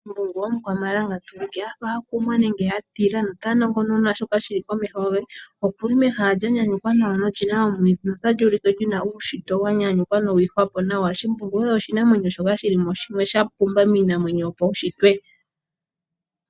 Shimbungu omukwamalanga tuulike a fa a kumwa nenge a tila nota nongonona shoka shili komeho ge, okuli mehala lya nyanyukwa nawa nolina omwiidhi notali ulike li na uunshitwe wa nyanyukwa nowi ihwapo nawa. Shimbungu oye oshinamwenyo shoka shili mo shimwe sha pumba miinamwenyo yopaushitwe.